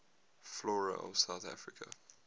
flora of south africa